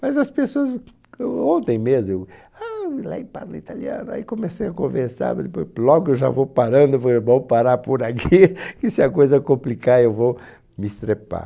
Mas as pessoas, ontem mesmo, eu ah parlo italiano, aí comecei a conversar, mas depois logo eu já vou parando, vou é bom parar por aqui, que se a coisa complicar eu vou me estrepar.